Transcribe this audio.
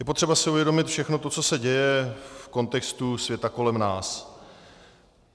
Je potřeba si uvědomit všechno to, co se děje v kontextu světa kolem nás.